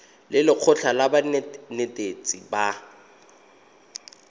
le lekgotlha la banetetshi ba